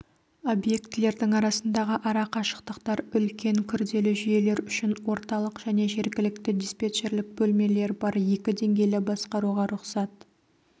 объектілердің арасындағы ара қашықтықтар үлкен күрделі жүйелер үшін орталық және жергілікті диспетчерлік бөлмелер бар екі деңгейлі басқаруға рұқсат